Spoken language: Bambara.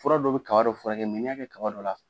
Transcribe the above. Fura dɔ bɛ kaba dɔ furakɛ n'i y'a kɛ kaba dɔ la